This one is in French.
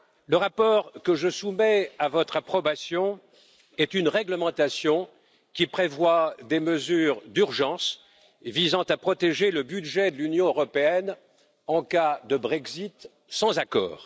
Le rapport que je soumets à votre approbation est une réglementation qui prévoit des mesures d'urgence visant à protéger le budget de l'Union européenne en cas de Brexit sans accord.